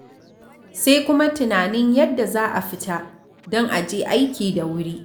Sai kuma tunanin yadda za a fita, don a je aiki da wuri.